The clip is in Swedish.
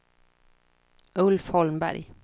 Ulf Holmberg